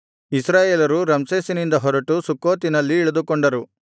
ಇಸ್ರಾಯೇಲರು ರಮ್ಸೇಸಿನಿಂದ ಹೊರಟು ಸುಕ್ಕೋತಿನಲ್ಲಿ ಇಳಿದುಕೊಂಡರು